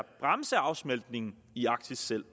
bremse afsmeltningen i arktis selv